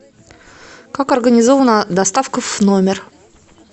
как организована доставка в номер